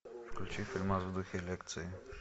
включи фильмас в духе лекции